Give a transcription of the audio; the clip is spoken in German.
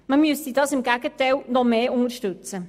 Man müsste diese im Gegenteil noch stärker unterstützen.